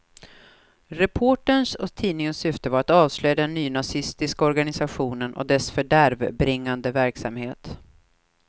Reporterns och tidningens syfte var att avslöja den nynazistiska organisationen och dess fördärvbringande verksamhet.